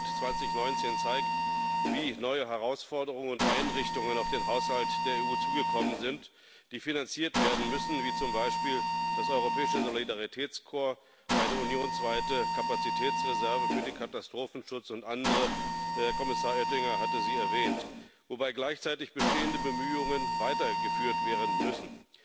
Der Haushalt 2019 zeigt, wie neue Herausforderungen und Einrichtungen auf den Haushalt der EU zugekommen sind, die finanziert werden müssen, wie zum Beispiel das Europäische Solidaritätskorps, eine unionsweite Kapazitätsreserve für den Katastrophenschutz und andere Kommissar Oettinger hatte sie erwähnt wobei gleichzeitig bestehende Bemühungen weitergeführt werden müssen.